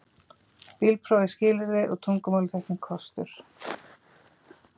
Bílpróf er skilyrði og tungumálaþekking kostur